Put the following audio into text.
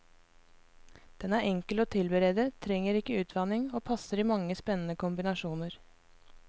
Den er enkel å tilberede, trenger ikke utvanning, og passer i mange spennende kombinasjoner.